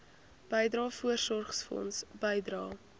bydrae voorsorgfonds bydrae